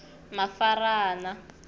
mafarana